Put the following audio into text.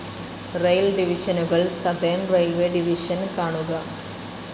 Rail ഡിവിഷനുകൾ. Southern railways division കാണുക